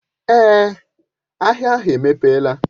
Èé, ahịa ahụ emepela.